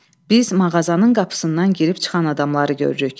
Biz mağazanın qapısından girib çıxan adamları görürük.